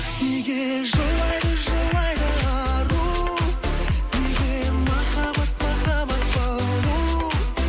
неге жылайды жылайды ару неге махаббат махаббат балу